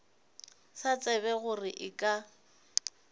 sa tsebe gore e ka